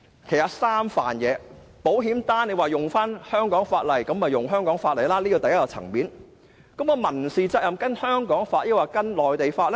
如果說保險賠償是依據香港法例，便沿用香港法例，這是第一個層面，但民事責任應該依據香港還是內地的法例呢？